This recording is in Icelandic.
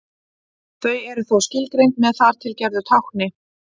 Þau eru þó skilgreind með þar til gerðu tákni.